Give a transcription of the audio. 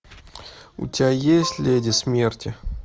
у тебя есть леди смерти